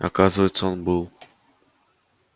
оказывается он был